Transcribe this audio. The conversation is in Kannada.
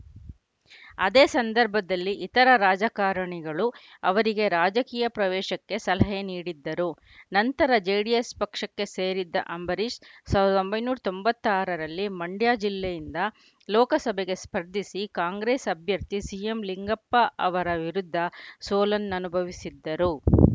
ಅದೇ ಸಂದರ್ಭದಲ್ಲಿ ಇತರೆ ರಾಜಕಾರಣಿಗಳು ಅವರಿಗೆ ರಾಜಕೀಯ ಪ್ರವೇಶಕ್ಕೆ ಸಲಹೆ ನೀಡಿದ್ದರು ನಂತರ ಜೆಡಿಎಸ್‌ ಪಕ್ಷಕ್ಕೆ ಸೇರಿದ್ದ ಅಂಬರೀಷ್‌ ಸಾವಿರದ ಒಂಬೈನೂರ ತೊಂಬತ್ತಾರರಲ್ಲಿ ಮಂಡ್ಯ ಜಿಲ್ಲೆಯಿಂದ ಲೋಕಸಭೆಗೆ ಸ್ಪರ್ಧಿಸಿ ಕಾಂಗ್ರೆಸ್‌ ಅಭ್ಯರ್ಥಿ ಸಿಎಂಲಿಂಗಪ್ಪ ಅವರ ವಿರುದ್ಧ ಸೋಲನ್ನನುಭವಿಸಿದ್ದರು